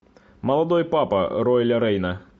молодой папа рояля рейна